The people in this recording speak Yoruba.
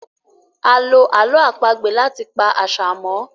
àlọ àlọ́ àpagbè lati pá àṣà mọ.